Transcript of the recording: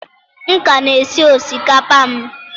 M ka na-esi osikapa m.